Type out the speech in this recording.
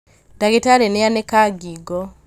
ndagĩtarĩ nĩanĩka ngingo